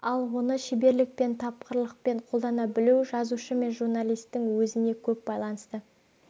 ал оны шеберлікпен тапқырлықпен қолдана білу жазушы мен журналистің өзіне көп байланысты